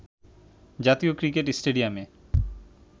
জাতীয় ক্রিকেট স্টেডিয়ামে